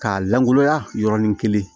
K'a lankolonya yɔrɔnin kelen